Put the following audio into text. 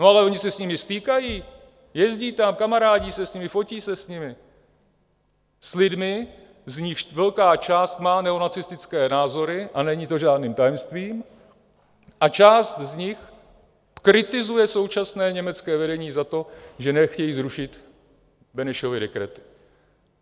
No ale oni se s nimi stýkají, jezdí tam, kamarádí se s nimi, fotí se s nimi, s lidmi, z nichž velká část má neonacistické názory, a není to žádným tajemstvím, a část z nich kritizuje současné německé vedení za to, že nechtějí zrušit Benešovy dekrety.